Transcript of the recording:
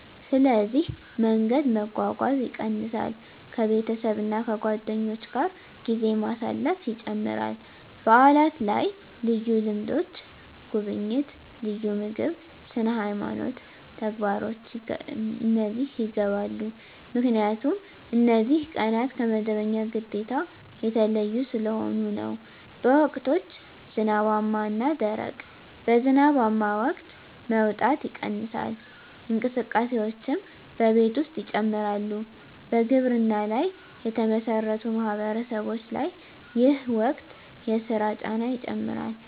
ስለዚህ መንገድ መጓጓዝ ይቀንሳል ከቤተሰብ እና ከጓደኞች ጋር ጊዜ ማሳለፍ ይጨምራል በዓላት ላይ ልዩ ልምዶች (ጉብኝት፣ ልዩ ምግብ፣ ስነ-ሃይማኖት ተግባሮች) ይገባሉ 👉 ምክንያቱም እነዚህ ቀናት ከመደበኛ ግዴታ የተለዩ ስለሆኑ ነው። በወቅቶች (ዝናባማ እና ደረቅ): በዝናባማ ወቅት መውጣት ይቀንሳል፣ እንቅስቃሴዎችም በቤት ውስጥ ይጨምራሉ በግብርና ላይ የተመሠረቱ ማህበረሰቦች ላይ ይህ ወቅት የሥራ ጫና ይጨምራል